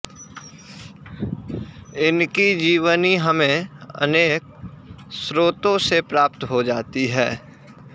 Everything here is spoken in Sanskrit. इनकी जीवनी हमें अनेक स्रोतों से प्राप्त हो जाती है